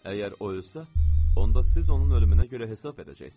Əgər o ölsə, onda siz onun ölümünə görə hesab edəcəksiz.